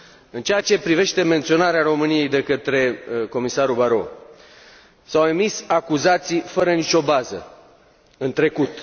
În ceea ce privește menționarea României de către comisarul Barrot, s au emis acuzații fără nicio bază în trecut.